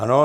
Ano.